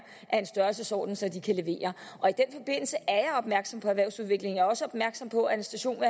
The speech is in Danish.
af en størrelsesorden så de kan levere og opmærksom på erhvervsudviklingen er også opmærksom på at en station